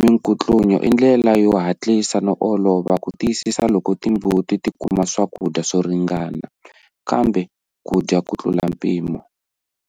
minkutlunyo i ndlela yo hatisa no olova ku kumisisa loko timbuti ti kuma swakudya swo ringana, kambe ku dya ku tlula mpimo.